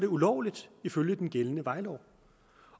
ulovligt ifølge den gældende vejlov